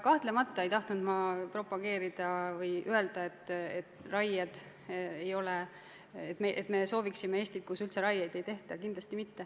Kahtlemata ei tahtnud ma öelda, et me soovime Eestit, kus üldse raieid ei tehta – kindlasti mitte.